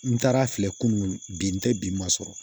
N taara filɛ kunun bi n tɛ bi ma sɔrɔ